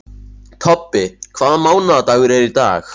Tobbi, hvaða mánaðardagur er í dag?